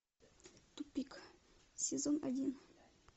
тупик сезон один